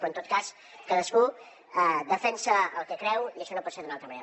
però en tot cas cadascú defensa el que creu i això no pot ser d’una altra manera